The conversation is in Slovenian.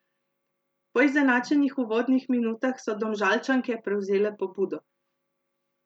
Po izenačenih uvodnih minutah so Domžalčanke prevzele pobudo.